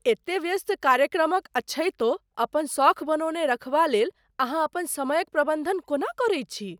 एते व्यस्त कार्यक्रमक अछैतो अपन सौख बनौने रखबा लेल अहाँ अपन समयक प्रबन्धन कोना करैत छी?